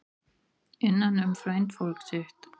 Innan um frændfólk sitt